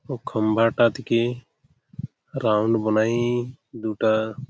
ও খম্বাটা থেকে রাউন্ড বনায়ে-এ দুটা --